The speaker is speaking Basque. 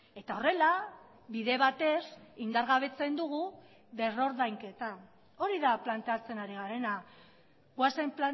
eta horrela bide batez indargabetzen dugu berrordainketa hori da planteatzen ari garena goazen